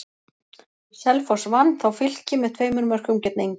Selfoss vann þá Fylki með tveimur mörkum gegn engu.